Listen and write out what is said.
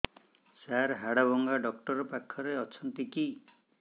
ସାର ହାଡଭଙ୍ଗା ଡକ୍ଟର ପାଖରେ ଅଛନ୍ତି କି